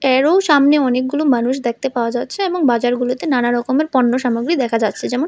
এরও সামনে অনেকগুলো মানুষ দেখতে পাওয়া যাচ্ছে এবং বাজারগুলিতে নানান রকমের পণ্য সামগ্রী দেখতে দেখা যাচ্ছে যেমন--